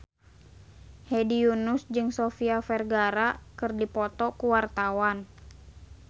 Hedi Yunus jeung Sofia Vergara keur dipoto ku wartawan